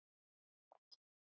Hvað segirðu?